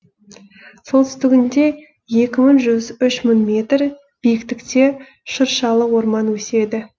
солтүстігінде екі мың жүз үш мың метр биіктікте шыршалы орман өседі